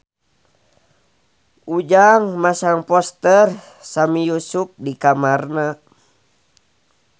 Ujang masang poster Sami Yusuf di kamarna